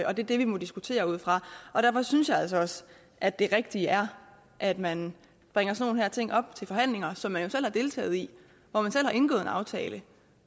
og det er det vi må diskutere ud fra derfor synes jeg altså også at det rigtige er at man bringer sådan nogle ting op til forhandlinger som man jo selv har deltaget i hvor man selv har indgået en aftale